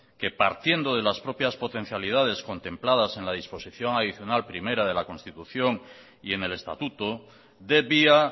que partiendo de las propias potencialidades contempladas en la disposición adicional primera de la constitución y en el estatuto debía